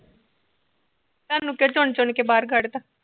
ਥਾਨੂੰ ਕਿਉ ਚੁਣ ਚੁਣ ਕੇ ਬਾਹਰ ਕੱਢ ਤਾ